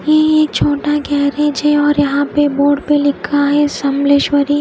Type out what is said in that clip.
ये एक छोटा गेरिज़ है और यहा पे बोर्ड पे लिखा है समलेश्वरी--